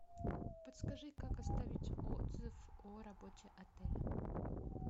подскажи как оставить отзыв о работе отеля